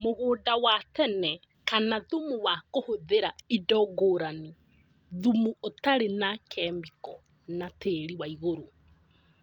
Mũgũnda wa tene kana thumu wa kũhũthĩra indo ngũrani, thumu ũtarĩ na kĩmĩko na tĩri wa igũrũ